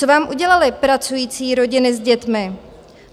Co vám udělali pracující rodiny s dětmi?